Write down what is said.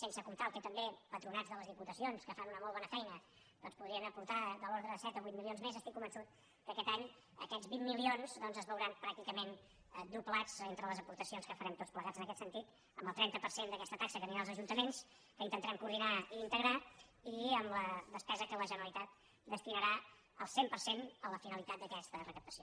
sense comptar el que també pa·tronats de les diputacions que fan una molt bona fei·na doncs podrien aportar de l’ordre de set o vuit milions més estic convençut que aquest any aquests vint mi·lions doncs es veuran pràcticament doblats entre les aportacions que farem tots plegats en aquest sentit amb el trenta per cent d’aquesta taxa que anirà als ajunta·ments que inten tarem coordinar i integrar i amb la des·pesa que la genera litat destinarà al cent per cent a la fi·nalitat d’aquesta recaptació